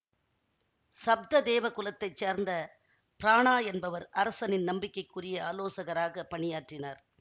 சப்ததேவகுலத்தைச் சேர்ந்த பிரானா என்பவர் அரசனின் நம்பிக்கைக்குரிய ஆலோசகராகப் பணியாற்றினார்